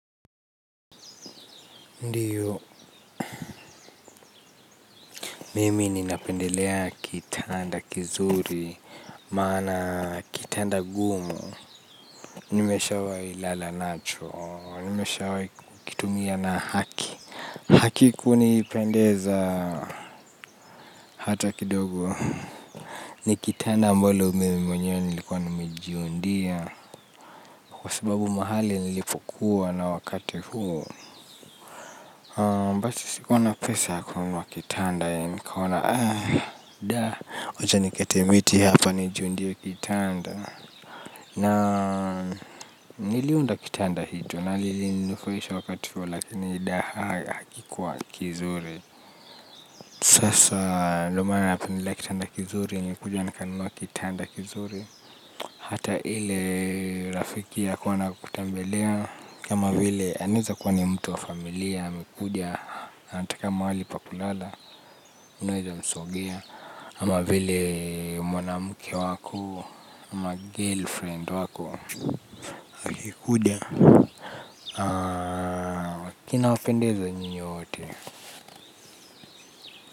Ndiyo, mimi ninapendelea kitanda kizuri, maana kitanda gumu, nimeshawahi lala nacho, nimeshawahi kukitumia na haki. Hakiku nipendeza hata kidogo, ni kitanda ambolo mimi mwenyewe nilikuwa nimijiundia, kwa sababu mahali nilipokuwa na wakati huu. aMbacho sikuwa na pesa ya kununua kitanda ya nikaona, wacha nikate miti hapa nijundie kitanda. Na, niliunda kitanda hii tu, nalili nifurahisha wakati huo lakini jidaha hakikuwa kizuri. Sasa, ndio maana yapendelea kitanda kizuri, nilikuja nikanunua kitanda kizuri. Hata ile, rafiki ya kuona kutembelea. Kama vile, anaweza kuwa ni mtu wa familia, amekuja, anataka mahali pa kulala unaweza msongea ama vile mwanamke wako ama girlfriend wako kukuda kinawapendeza nyinyi nyote.